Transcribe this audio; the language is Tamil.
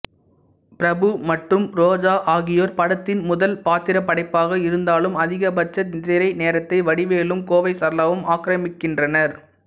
பிரபு மற்றும் ரோஜா ஆகியோர் படத்தின் முதல் பாத்திரப்படைப்பாக இருந்தாலும் அதிகபட்ச திரை நேரத்தை வடிவேலும் கோவை சரளாவும் ஆக்கிரமிக்கின்றனர்